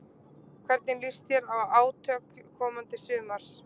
Hvernig líst þér á átök komandi sumars?